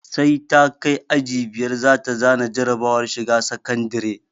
Sai ta kai aji biyar za ta za na jarabawar shiga sakandire